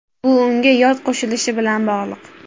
Bu unga yod qo‘shilishi bilan bog‘liq.